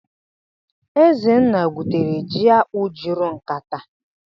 Ezenna gwutere ji akpụ́ juru nkatá (ekete).